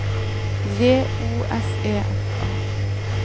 J O S E F A